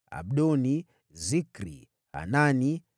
Abdoni, Zikri, Hanani,